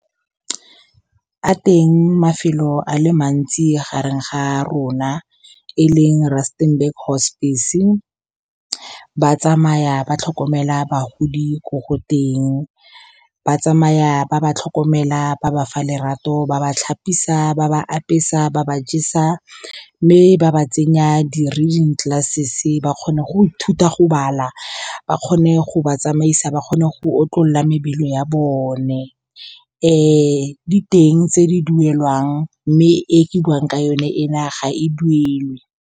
A teng mafelo a le mantsi gareng ga a rona, e leng Rustenburg Hospice-e. Ba tsamaya ba tlhokomela bagodi ko go teng. Ba tsamaya ba ba tlhokomela, ba ba fa lerato, ba ba tlhapisi, ba ba apesa, ba ba jesa, mme ba ba tsenya di-reading glasses gore ba kgone go ithuta go bala. Ba kgone go ba tsamaisa, ba kgone go otlolola mebele ya bone. Di teng tse di duelwang, mme e ke buwang ka yone e na ga e duelwe.